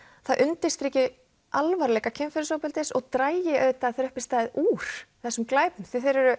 það undirstriki alvarleika kynferðisofbeldis og dragi þegar uppi er staðið úr þessum glæpum þeir eru